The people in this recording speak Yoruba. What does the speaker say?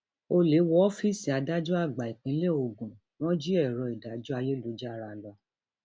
ọlẹ wọ ọfíìsì adájọ àgbà ìpínlẹ ogun wọn jí èrò ìdájọ ayélujára lọ